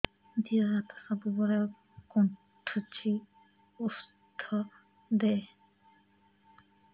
ଦିହ ହାତ ସବୁବେଳେ କୁଣ୍ଡୁଚି ଉଷ୍ଧ ଦେ